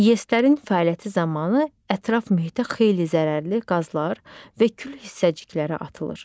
İES-lərin fəaliyyəti zamanı ətraf mühitə xeyli zərərli qazlar və kül hissəcikləri atılır.